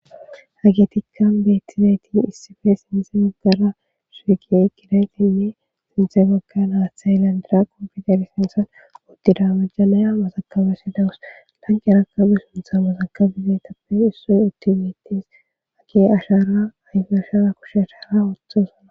Hage tikka beettizaytin issife sintze maggara suugi gidaytinne sinthe bagga naathay landira kompiuter sintsan uddida majjanaya masakabesi dawus langerakabe suntha masakabizeetappe issoy uttiumitis ae ashaara ayfe ashara kushe ashaara othosana.